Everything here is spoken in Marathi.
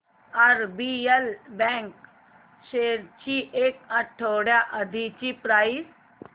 आरबीएल बँक शेअर्स ची एक आठवड्या आधीची प्राइस